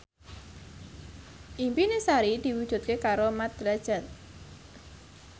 impine Sari diwujudke karo Mat Drajat